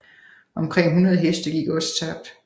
Omkring 100 heste gik også tabt